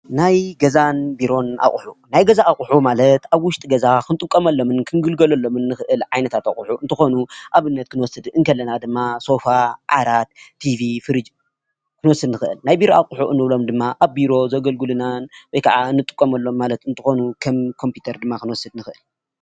ናይ ገዛን ቢሮን አቑሑ ናይ ገዛ አቑሑ ማለት አብ ውሽጢ ገዛ ክንጥቀመሎምን ክንግልገለሎምን እንክእል ዓይነታት አቑሑ እንትኾኑ፤ ንአብነት ክንወስድ እንተለና ድማ ሶፋ፣ ዓራት፣ ቲቪ፣ ፍሪጅ ዝአመሰሉ ነገራት እዮም፡፡ ናይ ቢሮ አቑሑ እንብሎም ድማ አብ ቢሮ ዘገልግሉና ወይ ከዓ እንጥቀመሎም ማለት እንትኮኑ ከም ኮምፒተር ድማ ክንወስድ ንክእል፡፡